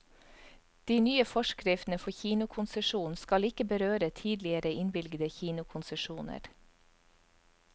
De nye forskriftene for kinokonsesjon skal ikke berøre tidligere innvilgede kinokonsesjoner.